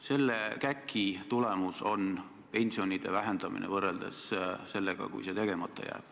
Selle käki tulemuseks on pensioni vähenemine võrreldes sellega, kui see reform tegemata jääb.